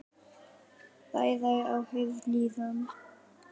Ræða í áheyrn lýða.